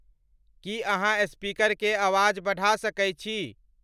की अहाँस्पीकर के आवाज़ बढ़ा सके छी